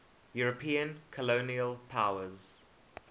european colonial powers